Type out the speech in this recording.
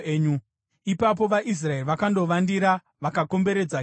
Ipapo vaIsraeri vakandovandira vakakomberedza Gibhea.